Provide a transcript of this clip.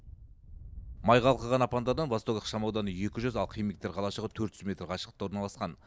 май қалқыған апандардан восток ықшам ауданы екі жүз ал химиктер қалашығы төрт жүз метр қашықтықта орналасқан